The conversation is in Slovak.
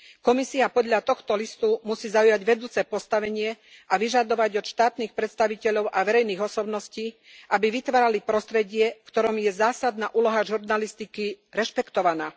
Komisia podľa tohto listu musí zaujať vedúce postavenie a vyžadovať od štátnych predstaviteľov a verejných osobností, aby vytvárali prostredie, v ktorom je zásadná úloha žurnalistiky rešpektovaná.